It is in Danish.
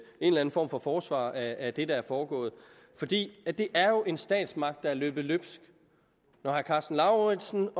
en eller en form for forsvar af det der er foregået for det er det er jo en statsmagt der er løbet løbsk når herre karsten lauritzen